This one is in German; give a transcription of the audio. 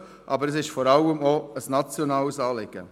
Aber es ist vor allem auch ein nationales Anliegen.